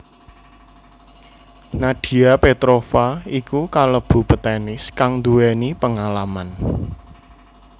Nadia Petrova iku kalebu petenis kang nduwéni pengalaman